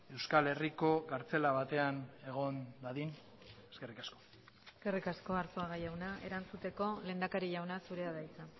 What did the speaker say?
euskal herriko kartzela batean egon dadin eskerrik asko eskerrik asko arzuaga jauna erantzuteko lehendakari jauna zurea da hitza